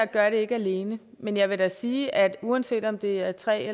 gør det alene men jeg vil da sige at uanset om det er tre